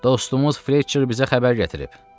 Dostumuz Fletçer bizə xəbər gətirib.